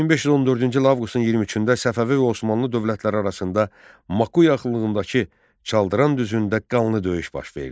1514-cü il avqustun 23-də Səfəvi və Osmanlı dövlətləri arasında Makuyaxınlığındakı Çaldıran düzündə qanlı döyüş baş verdi.